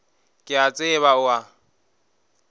ke a tseba o a